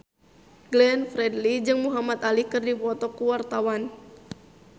Glenn Fredly jeung Muhamad Ali keur dipoto ku wartawan